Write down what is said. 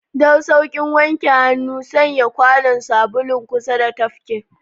Don sauƙin wanke hannu, sanya kwanon sabulun kusa da tafki.